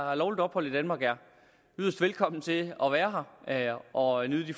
har lovligt ophold i danmark er yderst velkomne til at være her og nyde de